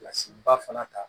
Kilasi ba fana ta